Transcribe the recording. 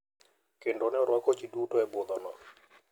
Kendo ne orwako ji duto e budhono.